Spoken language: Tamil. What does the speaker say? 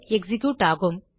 எக்ஸிக்யூட் ஆகும்